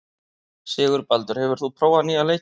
Sigurbaldur, hefur þú prófað nýja leikinn?